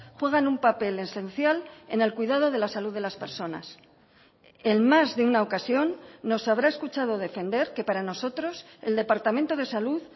juegan un papel esencial en el cuidado de la salud de las personas en más de una ocasión nos habrá escuchado defender que para nosotros el departamento de salud